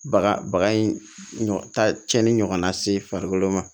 Baga baga in ɲɔgɔn ta cɛni ɲɔgɔnna se farikolo ma